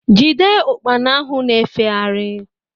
Jide Ụkpana ahụ ná-efegharị